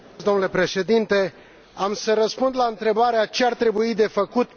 Domnule Președinte, am să răspund la întrebarea Ce ar trebui făcut?